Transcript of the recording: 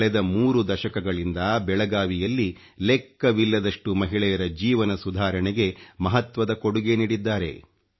ಕಳೆದ 3 ದಶಕಗಳಿಂದ ಬೆಳಗಾವಿಯಲ್ಲಿ ಲೆಕ್ಕವಿಲ್ಲದಷ್ಟು ಮಹಿಳೆಯರ ಜೀವನ ಸುಧಾರಣೆಗೆ ಮಹತ್ವದ ಕೊಡುಗೆ ನೀಡಿದ್ದಾರೆ